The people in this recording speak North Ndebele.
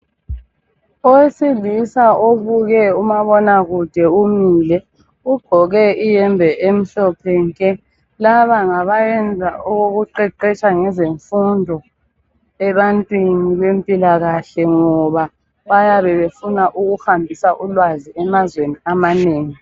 Owesilisa obuke umabonakude umile ugqoke iyembe emhlophe nke, laba ngabayenza okokuqeqetsha ngezemfundo ebantwini bempilakahle ngoba bayabe befuna ukuhambisa ulwazi olunengi emazweni.